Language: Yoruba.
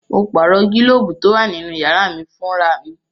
Mo pààrọ̀ gílóbù tó wà nínú yàrá mí fún ra mi